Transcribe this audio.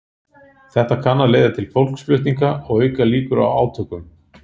Þetta kann að leiða til fólksflutninga og auka líkur á átökum.